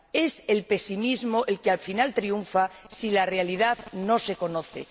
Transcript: es el pesimismo el que al final triunfa si la realidad no se conoce.